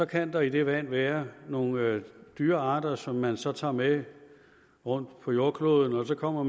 kan der i det vand være nogle dyrearter som man så tager med rundt på jordkloden man kommer